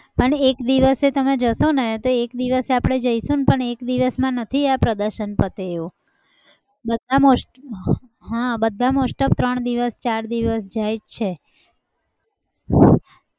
અને એક દિવસેએ તમે જશોને તો એક દિવસ આપણે જઈશુંને પણ એક દિવસમાં નથી આ પ્રદર્શન પતે એવું. આ most હા બધા most of ત્રણ દિવસ ચાર દિવસ જાય જ છે.